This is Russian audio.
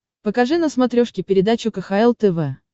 покажи на смотрешке передачу кхл тв